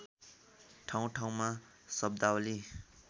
ठाउँठाउँमा शब्दावली